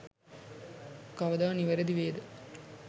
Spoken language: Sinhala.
කවදා නිවැරදි වේද?